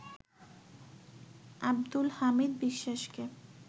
আবদুল হামিদ বিশ্বাসকে